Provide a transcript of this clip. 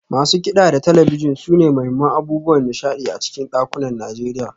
Masu kida da talabijin sune muhimman abubuwan nishadi a cikin dakunan Najeriya.